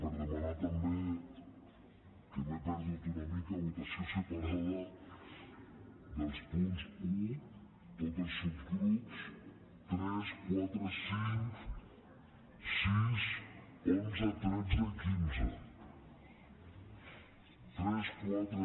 per demanar també que m’he perdut una mica votació separada dels punts un tots els subgrups tres quatre cinc sis onze tretze i quinze tres quatre cinc sis onze tretze i quinze